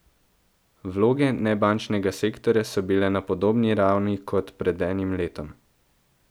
Vloge nebančnega sektorja so bile na podobni ravni kot pred enim letom.